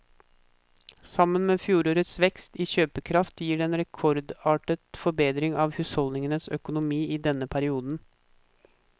Sammen med fjorårets vekst i kjøpekraft gir det en rekordartet forbedring av husholdningenes økonomi i denne perioden.